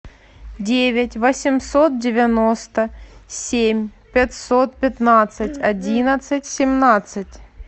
девять восемьсот девяносто семь пятьсот пятнадцать одиннадцать семнадцать